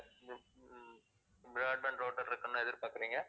broadband router இருக்கணும்னு எதிர்பார்க்கறீங்க?